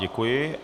Děkuji.